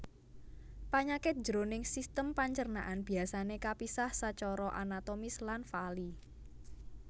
Panyakit jroning sistem pancernaan biasané kapisah sacara anatomis lan faali